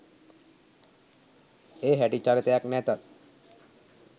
ඒ හැටි චරිතයක් නැතත්